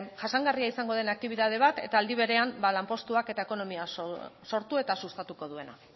jasangarria izan den aktibitate bat eta aldi berean ba lanpustuak eta ekonomia sortu eta sustatuko duena